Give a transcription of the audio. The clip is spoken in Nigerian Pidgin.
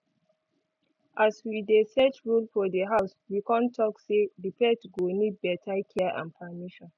as we dey set rule for di house we con talk say di pet go need better care and permission